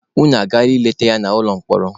Unu agaala leta ya n'ụlọ mkpọrọ?